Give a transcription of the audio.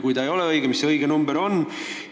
Kui see ei ole õige, siis mis see õige summa on?